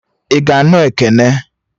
I ga-anụ Ekene?